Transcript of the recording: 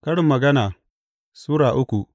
Karin Magana Sura uku